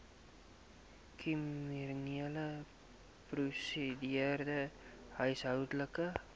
kriminele prosedure huishoudelike